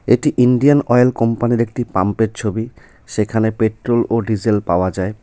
এটি Indian oil কোম্পানির একটি পাম্পের ছবি সেখানে পেট্রোল ও ডিজেল পাওয়া যায়.